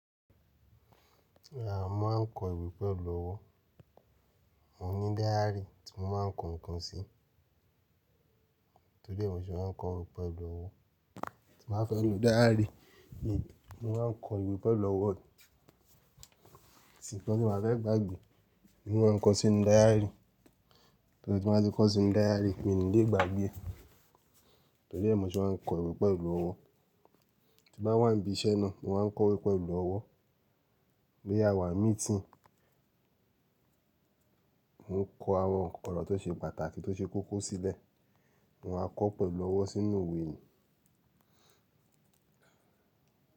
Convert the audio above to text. Rárá, mo máa ń kọ ìwé pẹ̀lú ọwọ́. Mo ní dáyárì tí mo máa ń kọ ǹkan sí. Tóri ẹ́ mọ̀ ṣe màá ń kọ ìwé pẹ̀lú ọwọ́, tí mo bá fẹ́ lo dáyárì, mo máa ń kọ ìwé pẹ̀lú ọwọ́. Atíǹkan tí mio bá fẹ́ gbàgbé ni mo máa ń kọ sí inú dáyárì. Torí tí mo bá ti kọ́ sí inú dáyárì, mi ò ní lè gbàgbé ẹ. Tóri ẹ́ mọ̀ ṣe màá ń kọ ìwé pẹ̀lú ọwọ́. Tí bá wà níbi iṣẹ́ náà, mo máa ń kọ ìwé pẹ̀lú ọwọ́. Boya a wà ní míítì, mò ń kọ àwọn ǹkan lọ́wọ́ tó ṣe pàtàkì tó ṣe kókó sílẹ̀, mo máa kọ́ pẹ̀lú ọwọ́ sínú ìwé ni.